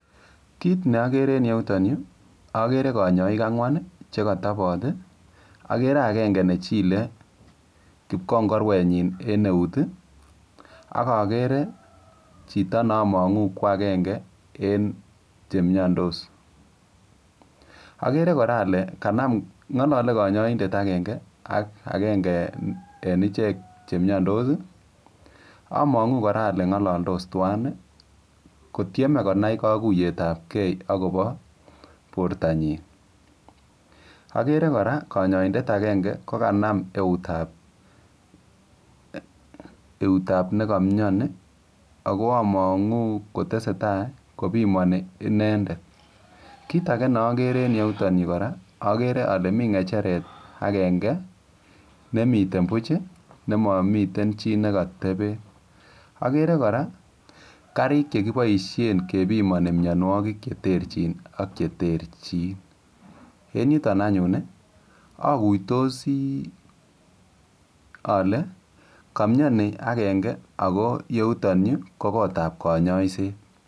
Imuche iororu kiy netesetai en yu?